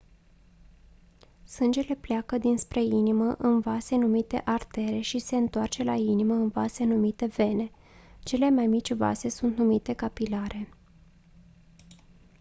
sângele pleacă dinspre inimă în vase numite artere și se întoarce la inimă în vase numite vene cele mai mici vase sunt numite capilare